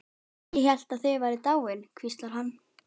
Ég hélt þið væruð dáin, hvíslar hann.